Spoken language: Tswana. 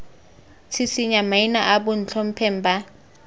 tshisinya maina a bontlhopheng ba